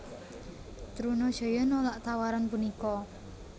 Trunajaya nolak tawaran punika